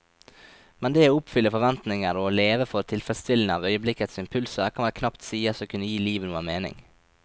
Men det å oppfylle forventninger og å leve for tilfredsstillelsen av øyeblikkets impulser kan vel knapt sies å kunne gi livet noen mening.